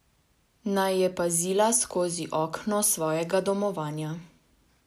Naj je pazila skozi okno svojega domovanja.